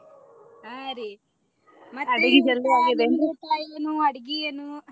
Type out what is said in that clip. ಹಾ ರೀ ನಿಮ ಊಟಾ ಏನು? ಅಡಗಿ ಏನು?